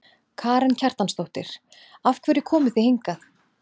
Karen Kjartansdóttir: Af hverju komuð þið hingað?